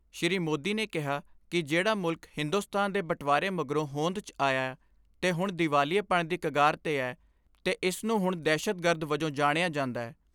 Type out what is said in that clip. ਸ੍ਰੀ ਮੋਦੀ ਨੇ ਕਿਹਾ ਕਿ ਜਿਹੜਾ ਮੁਲਕ, ਹਿੰਦੋਸਤਾਨ ਦੇ ਬਟਵਾਰੇ ਮਗਰੋਂ ਹੋਂਦ 'ਚ ਆਇਐ ਤੇ ਹੁਣ ਦੀਵਾਲੀਏਪਣ ਦੀ ਕਗਾਰ 'ਤੇ ਐ ਤੇ ਇਸ ਨੂੰ ਹੁਣ ਦਹਿਸ਼ਤਗਰਦ ਵਜੋਂ ਜਣਿਆ ਜਾਂਦੈ।